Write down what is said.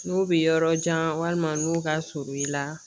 N'u bɛ yɔrɔ jan walima n'u ka surun i la.